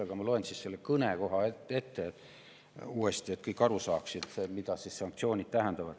Aga loen selle koha oma kõnest uuesti ette, et kõik saaksid aru, mida sanktsioonid tähendavad.